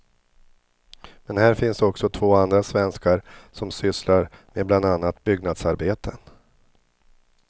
Men här finns också två andra svenskar som sysslar med bland annat byggnadsarbeten.